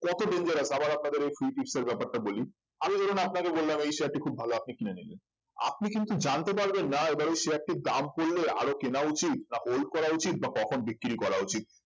কত dangerous আবার আপনাদের এই free tips এর ব্যাপারটা বলি আমি ধরুন আপনাকে বললাম এই share টি খুব ভালো আপনি কিনে নিলেন আপনি কিন্তু জানতে পারবেন না এবার এই share টির দাম পড়লে আরো কেনা উচিত না hold করা উচিত বা কখন বিক্রি করা উচিত